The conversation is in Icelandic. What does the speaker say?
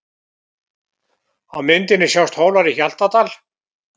Á myndinni sjást Hólar í Hjaltadal.